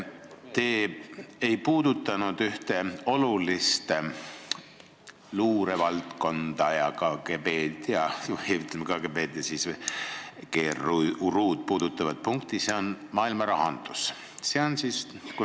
Te ei käsitlenud ühte olulist luurevaldkonda ja KGB-d ning GRU-d puudutavat punkti, see on maailmarahandus.